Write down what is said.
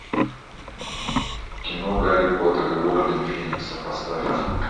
кино гарри поттер и орден феникса поставь